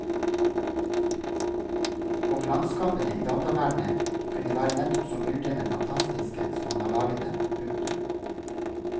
Og landskapene i dataverdenen kunne være nettopp så myldrende fantastiske som han har laget dem. punktum